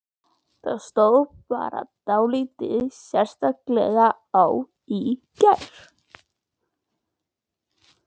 Það stóð bara dálítið sérstaklega á í gær.